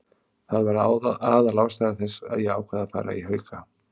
Það var aðalástæða þess að ég ákvað að fara í Hauka.